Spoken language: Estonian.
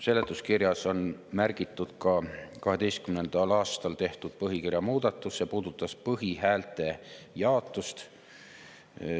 Seletuskirjas on märgitud ka 2012. aastal tehtud põhikirja muudatus, mis puudutas põhihäälte jaotust.